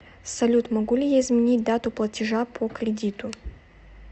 салют могу ли я изменить дату платежа по кредиту